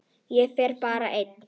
Ég fer bara ein.